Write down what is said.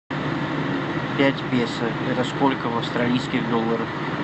пять песо это сколько в австралийских долларах